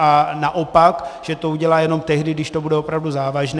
A naopak, že to udělá jenom tehdy, když to bude opravdu závažné.